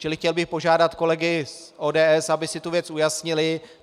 Čili chtěl bych požádat kolegy z ODS, aby si tu věc ujasnili.